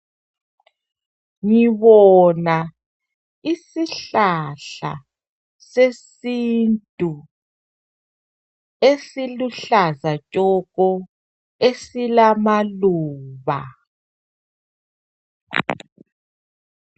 Ngibona isihlahla sesintu, esiluhlaza tshoko, esilamaluba.